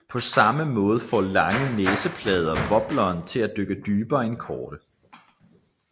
På samme måde får lange næseplader wobleren til at dykke dybere end korte